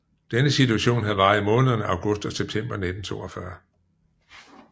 Denne situation havde varet i månederne august og september 1942